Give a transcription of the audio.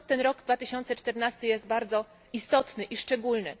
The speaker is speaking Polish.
Stąd rok 2014 jest bardzo istotny i szczególny.